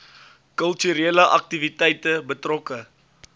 kulturele aktiwiteite betrokke